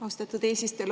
Austatud eesistuja!